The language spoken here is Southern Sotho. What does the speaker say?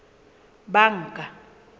banka